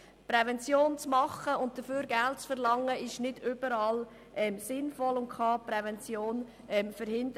Prävention zu betreiben und dafür Geld zu verlangen, ist nicht überall sinnvoll und kann die Prävention verhindern.